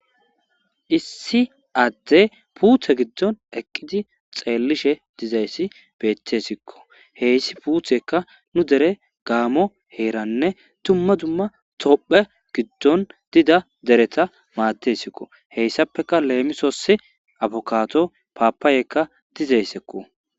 Issi adey puutte giidon eqqididi xeelishe dizayssi bettesikko hessi puutteykka nu deere gammo heerane dumma dumma tophphiya giiddon diiza deeretta maadesiko hessappeka lemissos abbukado papayaka diizayssako.